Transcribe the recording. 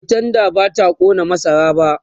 a'a tendan bata ƙona masar ba